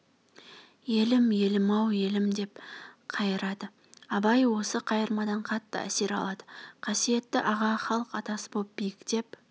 елім елім-ау-елім деп қайырады абай осы қайырмадан қатты әсер алды қасиетті аға халық атасы боп биіктеп